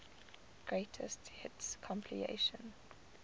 greatest hits compilation